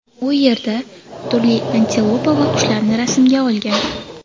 U yerda turli antilopa va qushlarni rasmga olgan.